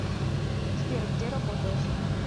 сбер где работаешь